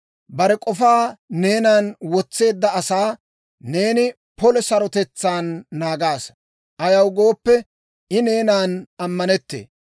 Bare k'ofaa neenan wotseedda asaa neeni polo sarotetsaan naagaasa; Ayaw gooppe, I neenan ammanettee.